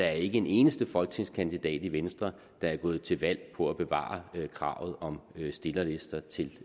er en eneste folketingskandidat i venstre der er gået til valg på at bevare kravet om stillerlister til